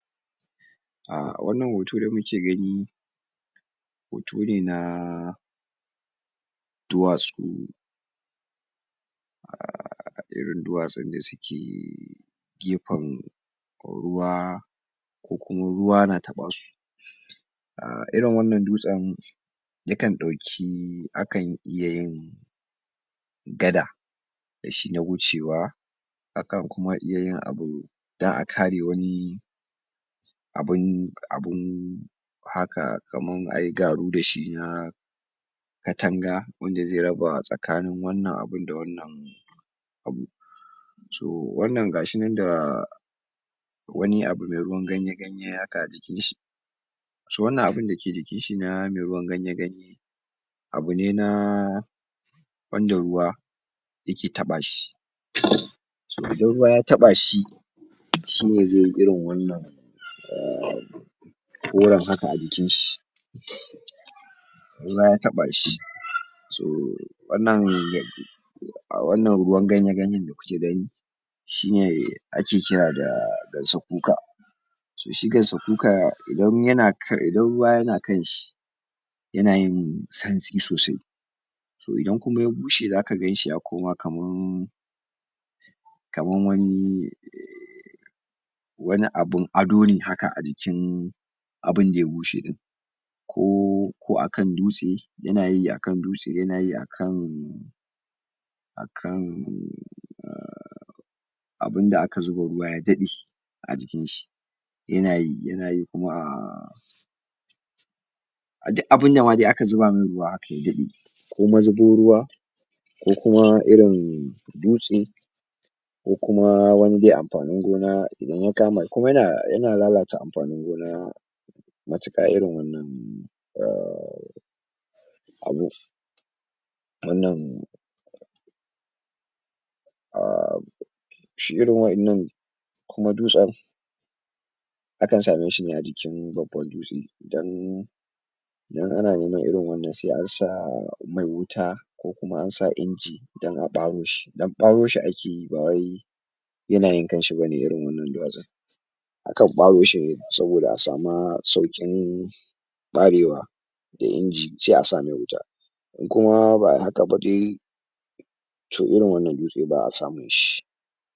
A wannan hoto da mu ke gani hoto ne na duwatsu um irin duwatsun da su ke gefen ruwa, ko kuma ruwa na taɓa su, a irin wannan dutsen yakan ɗauki akan iya yin gada da shi na wucewa, akan kuma iya yin abu dan a kare wani abun abun haka kaman ayi garu da shi na katanga, wanda ze raba tsakanin wannan abun da wannan abu, so wannan ga shi nan da wani abu me ruwan ganye ganye haka jikinshi, so wannan abun da ke jikinshi na me ruwan ganye ganye abu ne na um wanda ruwa ya ke taɓa shi, so idan ruwa ya taɓa shi shine ze yi irin wannan um koran haka a jikinshi ruwa ya taɓa shi so wannan a um wannan ruwan ganye ganyen da ku ke gani shine ake kira da gansakuka, so shi gansakuka idan ya na kan idan ruwa ya na kan shi ya na yin santsi sosai, so idan kuma ya bushe za ka ganshi ya koma kaman kaman wani wani abun ado ne haka a jikin abunda ya bushe ɗin, ko ko akan dutse ya na yi akan dutse ya na yi akan akan a um abunda aka zuba ruwa ya daɗe a jikinshi, ya na yi, ya na yi kuma um a dik abinda ma de aka zuba me ruwa haka ya daɗe, ko mazubin ruwa, ko kuma irin um dutse, ko kuma wani de amfanin gona idan ya kama kuma ya na um ya na lalata amfanin gona matuƙa irin um abu, wannan a um] shi irin wa'innan kuma dutsen akan same shi ne a jikin babban dutse dan dan ana neman irin wannan se an sa mai wuta ko kuma an sa inji dan a ɓaro shi dan ɓaro shi ake yi ba wai ya na yin kan shi ba ne irin wannan duwatsun, akan ɓaro shi ne saboda a sama sauƙin ɓarewa da inji se a sa me wuta, in kuma ba ai haka ba dai to irin wannan dutse ba'a samun shi.